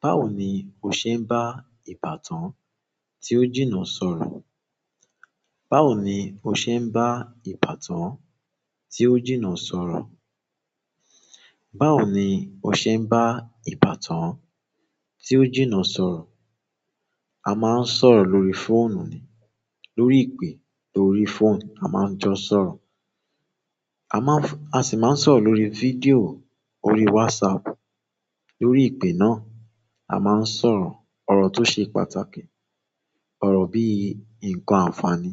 Báwo ni o se n ba ìbátan ti o jina sọ̀rọ̀. Báwo ni o ṣe ń bá ìbátan tí ó jìnnà sọ̀rọ̀? Báwo ni o ṣe ń bá ìbátan tí ó jìnnà sọ̀rọ̀? A máa ń sọ̀rọ̀ lórí fóònù ni, lórí ìpè lórí fóònù a máa ń jọ sọ̀rọ̀. A maa n f--a si maa n sọ̀rọ̀ lórí video, orí whatsapp lórí ìpè náà, a máa ń sọ̀rọ̀ ọ̀rọ̀ tó ṣe pàtàkì, ọ̀rọ̀ bí i nǹkan àǹfààní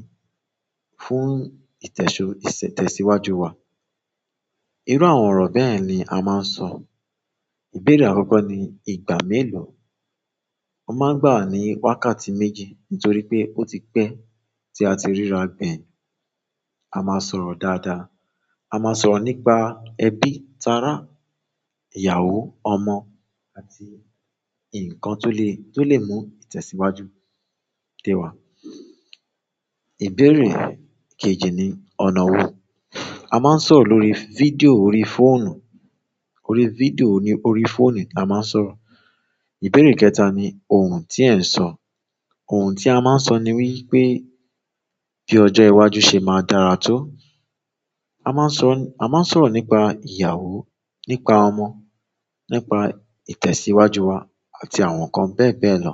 fún ìtẹ̀síwájú wa. Irú àwọn ọ̀rọ̀ bẹ́yẹ̀n ni a máa ń sọ. Ìbéèrè àkọ́kọ́ ni ìgbà mélòó? O máa ń gbàwá ní wákàtí méjì nítorí pé ó ti pẹ́ tí a ti ríra gbẹ̀yìn. A máa sọ̀rọ̀ dáadáa. A máa sọ̀rọ̀ nípa ẹbí, tárá, ìyàwó, ọmọ àti nǹkan tó lè, tó lè mú ìtẹ̀síwájú té wa. Ìbéèrè kejì ni ọ̀nà wo? A máa ń sọ̀rọ̀ lórí fídíò órí fóònù. Lórí fídíò ni órí fóònù la máa ń sọ̀rọ̀. Ìbéèrè kẹta ni ohun tí ẹ̀ ń sọ? Ohun tí a máa ń sọ ni wípé bí ọjọ́ iwájú ṣe máa dára tó. A máa ń sọ, a máa ń sọ̀rọ̀ nípa ìyàwó, nípa ọmọ, nípa ìtẹ̀síwájú wa àti àwọn nǹkan bẹ́ẹ̀ bẹ́ẹ̀ lọ.